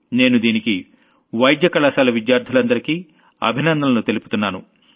నేను దీనికి medical college విద్యార్థులందరికీ అభినందనలు తెలుపుతున్నాను